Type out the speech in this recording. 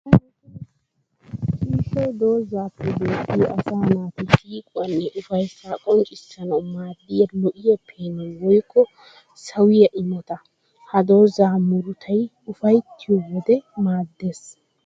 Ciishshay doozappe beettiya asaa naati siiquwanne ufayssa qonccissanawu maadiya lo'o peenoy woykko sawiya imotta. Ha dooza muruttay ufayttiyo wode maades.